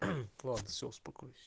ладно все успокойся